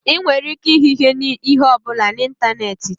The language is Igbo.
Ị nwere ike ịhụ ihe ọ bụla na ịntanetị taa.